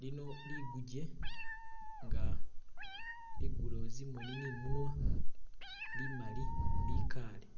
Lino liguje nga ligulewo zimoni ni munwa limali likale